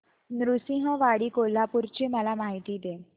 नृसिंहवाडी कोल्हापूर ची मला माहिती दे